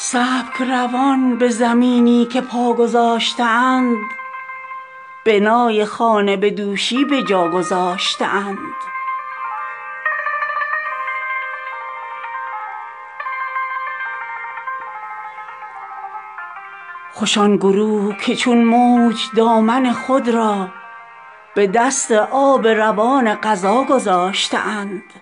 سبکروان به زمینی که پاگذاشته اند بنای خانه بدوشی بجا گذاشته اند کمند جاذبه مقصدست مردان را ز دست خویش عنانی که وا گذاشته اند خسیس تر ز جهان آن خسیس طبعانند که دل به عشوه این بیوفا گذاشته اند عجب که روز جزا سر برآورند از خاک کسان که خانه دل بی صفا گذاشته اند خوش آن گروه که چون موج دامن خود را به دست آب روان قضا گذاشته اند عجب که اهل دل از دل